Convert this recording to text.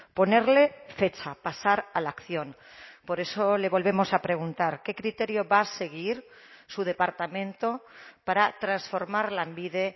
ponerle fecha pasar a la acción por eso le volvemos a preguntar qué criterio va a seguir su departamento para transformar lanbide